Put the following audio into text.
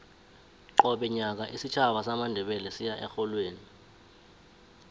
qobe nyaka isitjhaba samandebele siya erholweni